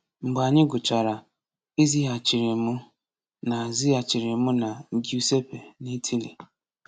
Mgbe anyị gụchara, e zighachiri mụ na zighachiri mụ na Giuseppe n’Italy.